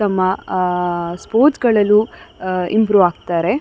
ತಮ್ಮ ಅಹ್ ಅಹ್ ಸ್ಪೋರ್ಟ್ಸ್ ಗಳ್ಳಲ್ಲು ಅಹ್ ಅಹ್ ಇಂಪ್ರೂವ್ ಆಗ್ತಾರೆ --